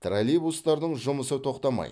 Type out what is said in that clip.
троллейбустардың жұмысы тоқтамайды